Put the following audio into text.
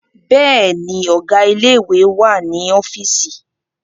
Bẹ́ẹ̀ni, Ọ̀gá ilé ìwé wà ní ọ́fíìsì